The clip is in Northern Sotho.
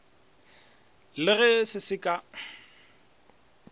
le ge se se ka